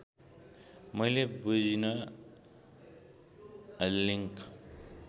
मैले बुझिन लिङ्क